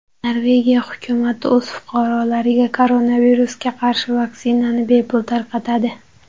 Norvegiya hukumati o‘z fuqarolariga koronavirusga qarshi vaksinani bepul tarqatadi.